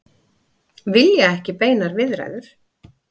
Vilja ekki beinar viðræður